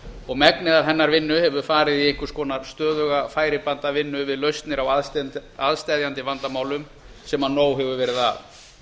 og megnið af hennar vinnu hefur farið í einhvers konar stöðuga færibandavinnu við lausnir á aðsteðjandi vandamálum sem nóg hefur verið af